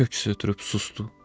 Hel köks ötürüb susdu.